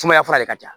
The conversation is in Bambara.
Sumaya fura de ka ca